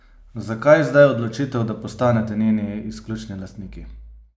Zakaj zdaj odločitev, da postanete njeni izključni lastniki?